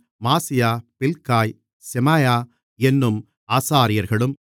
மாசியா Bilgai Shemaiah என்னும் ஆசாரியர்களும்